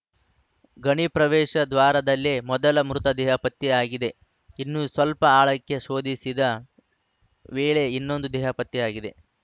ಗಣಿಯ ಪ್ರವೇಶ ದ್ವಾರದಲ್ಲೇ ಮೊದಲ ಮೃತ ದೇಹ ಪತ್ತೆಯಾಗಿದೆ ಇನ್ನು ಸ್ವಲ್ಪ ಆಳಕ್ಕೆ ಶೋಧಿಸಿದ ವೇಳೆ ಇನ್ನೊಂದು ದೇಹ ಪತ್ತೆಯಾಗಿದೆ